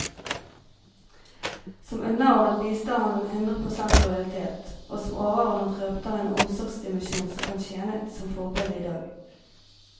Som underordnet viste han hundre prosent lojalitet, og som overordnet røpet han en omsorgsdimensjon som kan tjene som forbilde i dag.